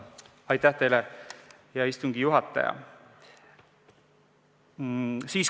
Aitäh teile, hea istungi juhataja!